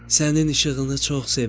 Sənin işığını çox sevirəm.